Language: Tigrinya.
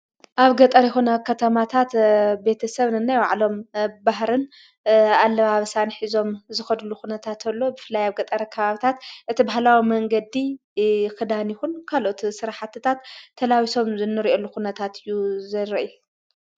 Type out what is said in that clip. ኣብ ገጠር ይሆነ ከተማታት ቤተ ሰብንና ይዋዕሎም ባህርን ኣለማ ብሳኒኂዞም ዝኸዱሉ ኹነታት ተሎ ብፍላይ ኣብ ገጠረ ኽባብታት እቲ በህላዊ መንገዲ ኽዳን ኹን ካልኦት ሥራሓትታት ተላዊሶም ዘንርእየሉ ዂነታት ዩ ።